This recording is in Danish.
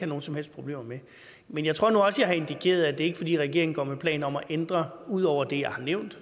nogen som helst problemer med men jeg tror nu også jeg har indikeret at det ikke er fordi regeringen går med planer om at ændre ud over det jeg har nævnt